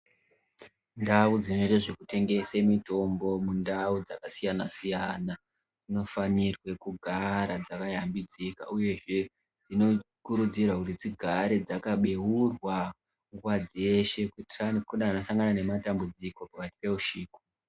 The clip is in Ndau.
Ndau dzinoite zvekutengese mitombo, mundau dzakasiyana-siyana, dzinofanirwe kugara dzakayambidzika ,uyehe dzinokurudzirwa kuti dzigare dzakabeurwa nguwa dzeshe kuitirani kune anosangana nematambudziko pakati peushiku.